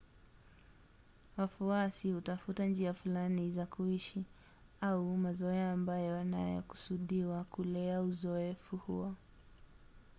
wafuasi hutafuta njia fulani za kuishi au mazoea ambayo yanakusudiwa kulea uzoefu huo